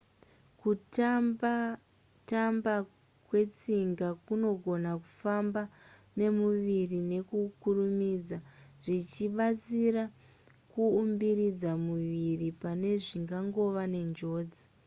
kutamba tamba kwetsinga kunogona kufamba nemuviri nekukurumidza zvichibatsira kuumbiridza muviri pane zvingangova nenjodzi